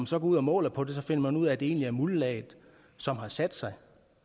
så går ud og måler på det finder man ud af at det egentlig er muldlaget som har sat sig